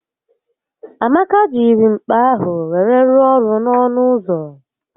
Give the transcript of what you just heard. Amaka jiri mkpa ahụ wee rụọ ọrụ n'ọnụ ụzọ